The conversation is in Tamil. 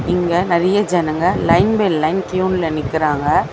இங்க நறைய ஜனங்க லைன் பை லைன் க்யூன்ல நிக்கறாங்க.